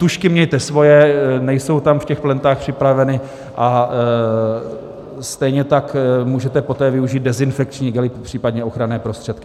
Tužky mějte svoje, nejsou tam v těch plentách připraveny, a stejně tak můžete poté využít dezinfekční gely, případně ochranné prostředky.